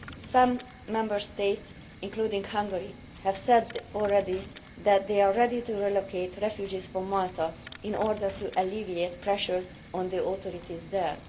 Some Member States, including Hungary, have already said that they are ready to reallocate refugees from Malta in order to alleviate pressure on the authorities there.